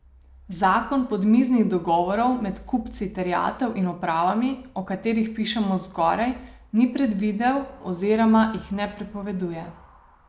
Zakon podmiznih dogovorov med kupci terjatev in upravami, o katerih pišemo zgoraj, ni predvidel oziroma jih ne prepoveduje.